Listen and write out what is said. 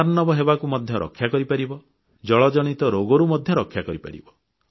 ଜଳାର୍ଣ୍ଣବ ହେବାରୁ ମଧ୍ୟ ରକ୍ଷା କରିପାରିବ ଜଳଜନିତ ରୋଗରୁ ମଧ୍ୟ ରକ୍ଷା କରିପାରିବ